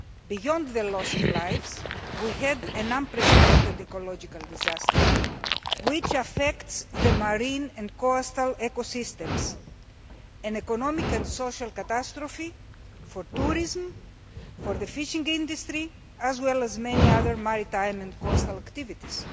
Beyond the loss of lives, we had an unprecedented ecological disaster that affects the marine and coastal ecosystems, an economic and social catastrophe for tourism, for the fishing industry, as well as many other maritime and coastal activities.